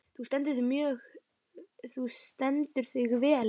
Þú stendur þig vel, Mjöll!